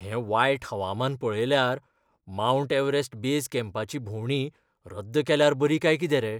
हें वायट हवामान पळयल्यार, मावंट एव्हरेस्ट बेज कॅम्पाची भोंवडी रद्द केल्यार बरी काय कितें रे?